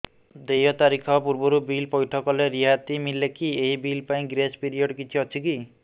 ଦେୟ ତାରିଖ ପୂର୍ବରୁ ବିଲ୍ ପୈଠ କଲେ ରିହାତି ମିଲେକି ଏହି ବିଲ୍ ପାଇଁ ଗ୍ରେସ୍ ପିରିୟଡ଼ କିଛି ଅଛିକି